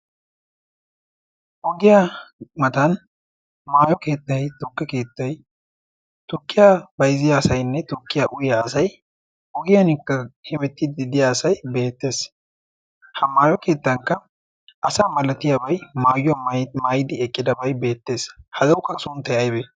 ogiya matan maayo keettay, tukkiy auyiya asay tukkiya bayzziya asay nne oggiyara biya asay beetees, maayo keettan asa malattiyabay egiidi beettes, hagawukka suntay aybee?